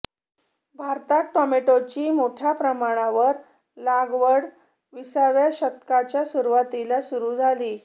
भारतात टोमॅटोची मोठ्या प्रमाणावर लागवड विसाव्या शतकाच्या सुरवातीला सुरू झाली